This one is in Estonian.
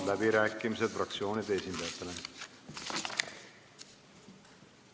Avan fraktsioonide esindajate läbirääkimised.